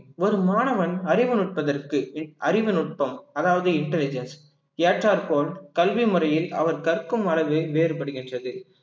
ஒரு மாணவன் அறிவு நுட்பதற்கு அறிவு நுட்பம் அதாவது intelligence ஏற்றாற்போல் கல்வி முறையில் அவர் கற்கும் அளவு வேறுபடுகின்றது